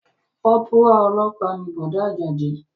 Kọ́pùrù ọlọ́pàá ni Bọ̀dá Àjàdí